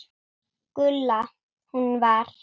Gulla. hún var.